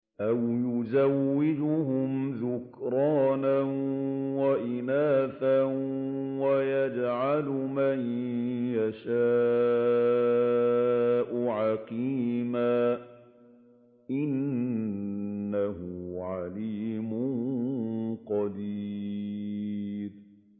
أَوْ يُزَوِّجُهُمْ ذُكْرَانًا وَإِنَاثًا ۖ وَيَجْعَلُ مَن يَشَاءُ عَقِيمًا ۚ إِنَّهُ عَلِيمٌ قَدِيرٌ